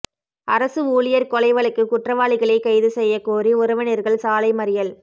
அரசு ஊழியா் கொலை வழக்கு குற்றவாளிகளை கைது செய்யக் கோரி உறவினா்கள் சாலை மறியல்